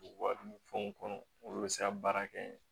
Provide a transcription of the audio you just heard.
Wari ni fɛnw kɔnɔ olu bɛ se ka baara kɛ